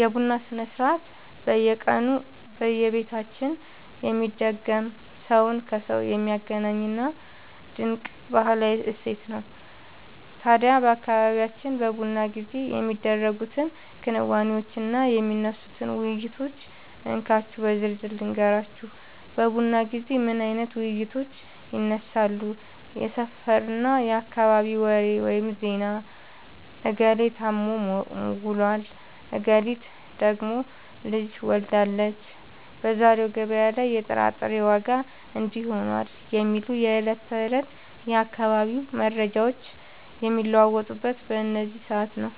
የቡና ሥርዓት በየቀኑ በየቤታችን የሚደገም፣ ሰውን ከሰው የሚያገናኝ ድንቅ ባህላዊ እሴታችን ነው። ታዲያ በአካባቢያችን በቡና ጊዜ የሚደረጉትን ክንዋኔዎችና የሚነሱትን ውይይቶች እንካችሁ በዝርዝር ልንገራችሁ፦ በቡና ጊዜ ምን አይነት ውይይቶች ይነሳሉ? የሰፈርና የአካባቢ ወሬ (ዜና)፦ "እገሌ ታሞ ውሏል፣ እገሊት ደግሞ ልጅ ወልዳለች፣ በዛሬው ገበያ ላይ የጥራጥሬ ዋጋ እንዲህ ሆኗል" የሚሉ የዕለት ተዕለት የአካባቢው መረጃዎች የሚለዋወጡት በዚህ ሰዓት ነው።